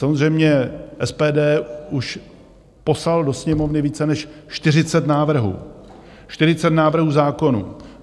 Samozřejmě SPD už poslalo do Sněmovny více než 40 návrhů, 40 návrhů zákonů.